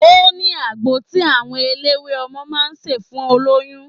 Ó ní agbo tí àwọn eléwé ọmọ máa ń ṣe fún olóyún.